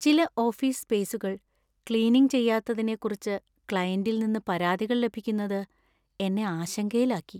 ചില ഓഫീസ് സ്‌പേസുകൾ ക്ലീനിംഗ് ചെയ്യാത്തതിനെക്കുറിച്ച് ക്ലയന്‍റിൽ നിന്ന് പരാതികൾ ലഭിക്കുന്നത് എന്നെ ആശങ്കയിലാക്കി.